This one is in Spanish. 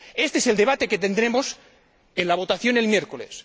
Este es el debate que tendremos en la votación el miércoles.